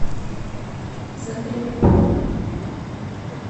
загреб